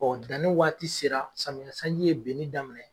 danni waati sera samiya sanji ye benni daminɛ